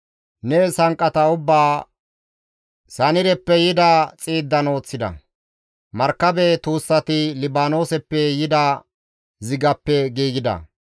Ne sanqqata ubbaa, Sanireppe yida xiiddan ooththida; markabe tuussati Libaanooseppe yida zigappe giigida.